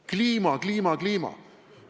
Kliima, kliima, kliima!